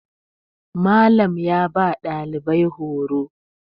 Malam ya ba ɗalibai horo